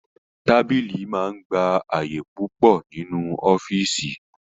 Tábìlì máa ń gba àyè púpọ̀ nínú ọ́fíìsì